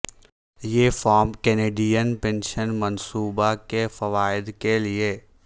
یہ form Canadian pension منصوبہ کے فوائد کے لئے ہے